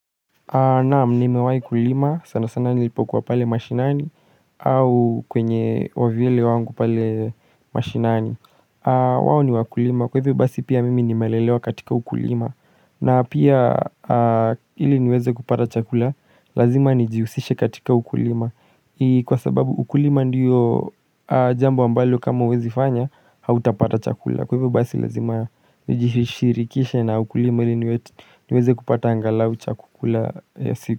Naam nimewai kulima sana sana nilipokuwa pale mashinani au kwenye wavyele wangu pale mashinani kwao ni wakulima kwa hivyo basi pia mimi nimelelewa katika ukulima na pia ili niweze kupata chakula lazima nijiusishe katika ukulima Kwa sababu ukulima ndiyo jambo ambalo kama uwezi fanya hautapata chakula Kwa hivyo basi lazima nijishirikishe na ukulima ili niweze kupata angalau cha kukula ya siku.